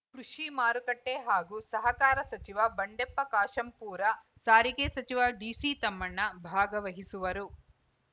ಕೃಷಿ ಮಾರುಕಟ್ಟೆಹಾಗೂ ಸಹಕಾರ ಸಚಿವ ಬಂಡೆಪ್ಪ ಕಾಶಂಪೂರ ಸಾರಿಗೆ ಸಚಿವ ಡಿಸಿ ತಮ್ಮಣ್ಣ ಭಾಗವಹಿಸುವರು